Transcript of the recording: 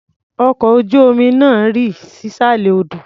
Ọkọ̀ ojú-omi náà rì sísàlẹ̀ odò.